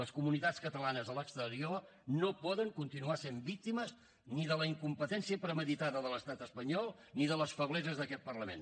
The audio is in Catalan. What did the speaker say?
les comunitats catalanes a l’exterior no poden continuar sent víctimes ni de la incompetència premeditada de l’estat espanyol ni de les febleses d’aquest parlament